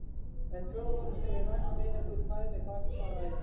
Eftir fjóra mánuði skal ég raka mig, ef þú vilt fæða mér barn, svaraði ég.